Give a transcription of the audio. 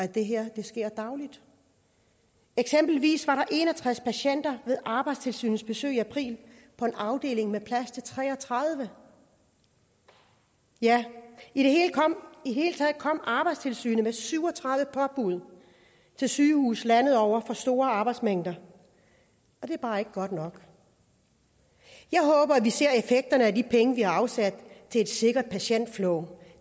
det her sker dagligt eksempelvis var der en og tres patienter ved arbejdstilsynets besøg i april på en afdeling med plads til tre og tredive ja i det hele taget kom arbejdstilsynet med syv og tredive påbud til sygehuse landet over for for store arbejdsmængder og det er bare ikke godt nok jeg håber at vi ser effekterne af de penge vi har afsat til et sikkert patientflow